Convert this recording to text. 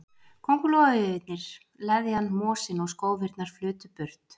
Kóngulóarvefirnir, leðjan, mosinn og skófirnar flutu burt.